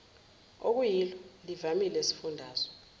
okuyilo livamile esifundazwe